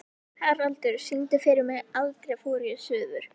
Haraldur, syngdu fyrir mig „Aldrei fór ég suður“.